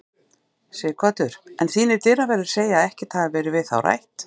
Sighvatur: En þínir dyraverðir segja að ekkert hafi verið við þá rætt?